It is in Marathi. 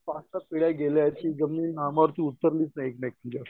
बासष्ट पिढ्या गेलेत की ती जमीन उतरलीच नाही